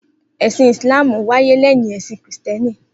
Esin Islam wáyé leyin esin kìristíèni